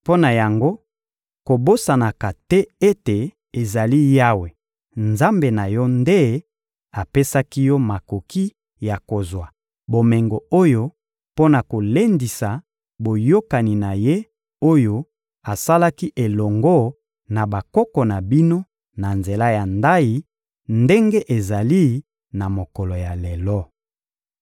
Mpo na yango, kobosanaka te ete ezali Yawe, Nzambe na yo, nde apesaki yo makoki ya kozwa bomengo oyo mpo na kolendisa boyokani na Ye, oyo asalaki elongo na bakoko na bino na nzela ya ndayi, ndenge ezali na mokolo ya lelo.